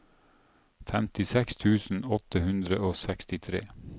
femtiseks tusen åtte hundre og sekstitre